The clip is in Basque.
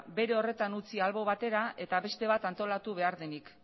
bere horretan utzi albo batera eta beste bat antolatu behar denik